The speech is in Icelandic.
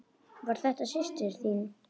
Var þetta systir þín?